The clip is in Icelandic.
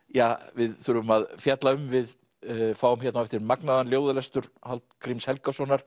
við þurfum að fjalla um við fáum magnaðan ljóðalestur Hallgríms Helgasonar